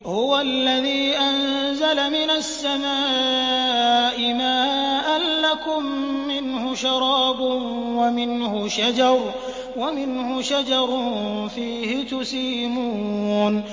هُوَ الَّذِي أَنزَلَ مِنَ السَّمَاءِ مَاءً ۖ لَّكُم مِّنْهُ شَرَابٌ وَمِنْهُ شَجَرٌ فِيهِ تُسِيمُونَ